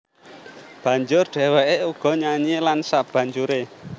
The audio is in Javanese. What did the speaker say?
Banjur dhèwèké uga nyanyi lan sabanjuré